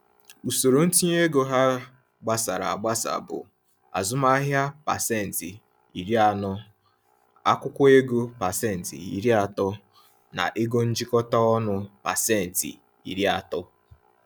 Usoro ntinye ego ha gbasara agbasa bụ: azụmahịa 40%, akwụkwọ ego 30%, na ego njikọta ọnụ 30%.